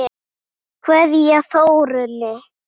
Kveðja, Þórunn.